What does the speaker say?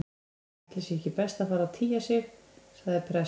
Ætli sé ekki best að fara að tygja sig- sagði prest